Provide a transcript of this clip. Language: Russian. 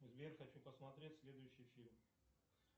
сбер хочу посмотреть следующий фильм